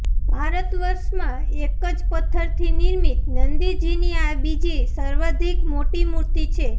ભારત વર્ષમાં એક જ પથ્થર થી નિર્મિત નંદીજી ની આ બીજી સર્વાધિક મોટી મૂર્તિ છે